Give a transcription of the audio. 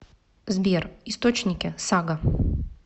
сбер источники сага